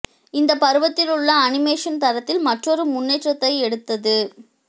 இந்த பருவத்தில் உள்ள அனிமேஷன் தரத்தில் மற்றொரு முன்னேற்றத்தை எடுத்தது